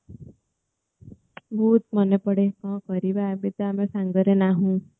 ବହୁତ ମନେ ପଡେ କଣ କରିବା ଆଜିତ ଆମେ ସାଙ୍ଗରେ ନାହୁ